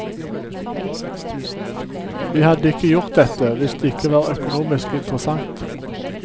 Vi hadde ikke gjort dette, hvis det ikke var økonomisk interessant.